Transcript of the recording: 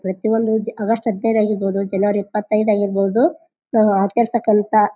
ಪ್ರತ್ಯೊಂದು August ಹದಿನೈದು ಆಗಿರ್ಬಹುದು ಜನವರಿ ಇಪ್ಪತೈದು ಆಗಿರ್ಬಹುದು ನಾವು ಆಚರಿಸಕ್ಕಂಥ--